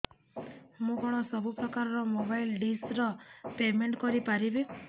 ମୁ କଣ ସବୁ ପ୍ରକାର ର ମୋବାଇଲ୍ ଡିସ୍ ର ପେମେଣ୍ଟ କରି ପାରିବି